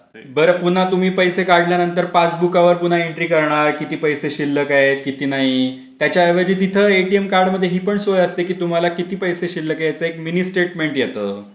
बरं पुन्हा तुम्ही पैसे काढल्यानंतर पासबुका वर पुन्हा एन्ट्री करणार किती पैसे शिल्लक आहे किती नाही. त्याच्या ऐवजी तिथ एटीएम कार्डही मध्ये हि पण सोय असते कि तुम्हाला किती पैसे शिल्लक आहे. याच एक मिनी स्टेटमेंट येत.